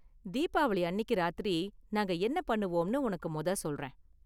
தீபாவளி அன்னிக்கு ராத்திரி நாங்க என்ன பண்ணுவோம்னு உனக்கு மொத சொல்றேன்.